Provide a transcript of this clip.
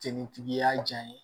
Jelitigi y'a jaɲe